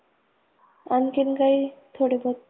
आणखीन काही थोडी बहोत.